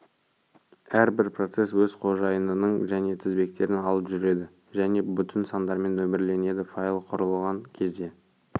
әрбір процесс өз қожайынының және тізбектерін алып жүреді және бүтін сандармен нөмірленеді файл құрылған кезде